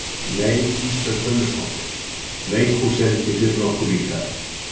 Nei Ísbjörg Guðmundsdóttir, leikhús er ekki fyrir okkar líka.